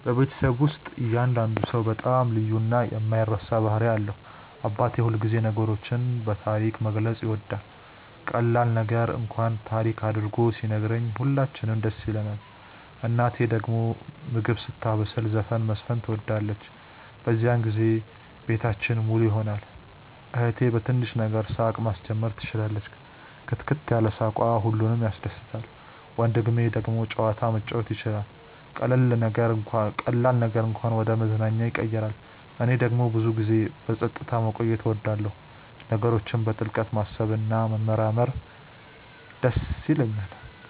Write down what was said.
በቤተሰቤ ውስጥ እያንዳንዱ ሰው በጣም ልዩ እና የማይረሳ ባህሪ አለው። አባቴ ሁልጊዜ ነገሮችን በታሪክ መግለጽ ይወዳል፤ ቀላል ነገር እንኳን ታሪክ አድርጎ ሲነግረን ሁላችንም ደስ ይለንናል። እናቴ ደግሞ ምግብ ስታበስል ዘፈን መዝፈን ትወዳለች፤ በዚያን ጊዜ ቤታችን ሙሉ ይሆናል። እህቴ በትንሽ ነገር ሳቅ ማስጀመር ትችላለች፣ ክትክት ያለ ሳቅዋ ሁሉንም ያስደስታል። ወንድሜ ደግሞ ጨዋታ መጫወት ይችላል፤ ቀላል ነገርን እንኳን ወደ መዝናኛ ያቀይራል። እኔ ደግሞ ብዙ ጊዜ በጸጥታ መቆየት እወዳለሁ፣ ነገሮችን በጥልቅ ማሰብ እና መመርመር ይደስ ይለኛል።